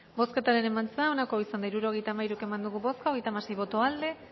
bozketaren emaitza onako izan da hirurogeita hamairu eman dugu bozka hogeita hamasei boto aldekoa